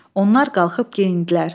Onlar qalxıb geyindilər.